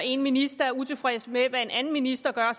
én minister er utilfreds med hvad en anden minister gør